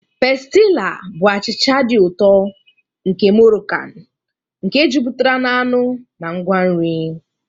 Pestila bụ achịcha dị ụtọ nke Morokan nke jupụtara na anụ na ngwa nri.